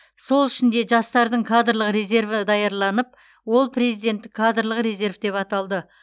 сол үшін де жастардың кадрлық резерві даярланып ол президенттік кадрлық резерв деп аталды